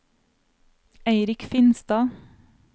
Eirik Finstad